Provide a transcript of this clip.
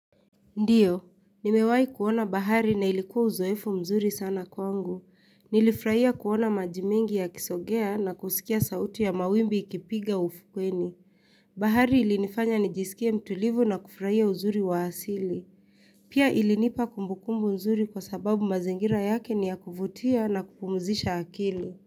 Ndiyo, nimewahi kuona bahari na ilikuwa uzoefu mzuri sana kwangu. Nilifurahia kuona maji mingi yakisogea na kusikia sauti ya mawimbi ikipiga ufukweni. Bahari ilinifanya nijisikie mtulivu na kufurahia uzuri waasili. Pia ilinipa kumbukumbu mzuri kwa sababu mazingira yake ni ya kuvutia na kupumzisha akili.